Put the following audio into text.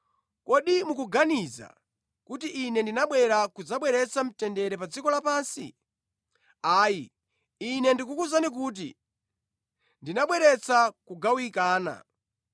Kodi mukuganiza kuti Ine ndinabwera kudzabweretsa mtendere pa dziko lapansi? Ayi, Ine ndikukuwuzani kuti, ndinabweretsa kugawikana.